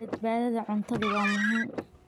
Badbaadada cuntadu waa muhiim.